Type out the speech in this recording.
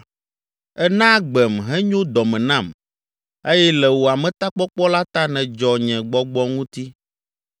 Èna agbem henyo dɔ me nam eye le wò ametakpɔkpɔ la ta nèdzɔ nye gbɔgbɔ ŋuti.